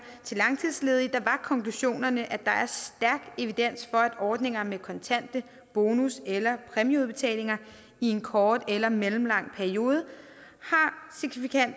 til langtidsledige var konklusionerne at der er stærk evidens for at ordninger med kontante bonus eller præmieudbetalinger i en kort eller mellemlang periode